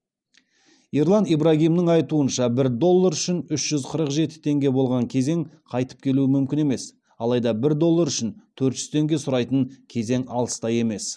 ерлан ибрагимнің айтуынша бір доллар үшін үш жүз қырық жеті теңге болған кезең қайтып келуі мүмкін емес алайда бір доллар үшін төрт жүз теңге сұрайтын кезең алыста емес